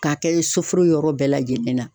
K'a kɛ soforo yɔrɔ bɛɛ lajɛlen na.